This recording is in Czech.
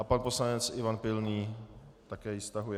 A pan poslanec Ivan Pilný - také ji stahuje.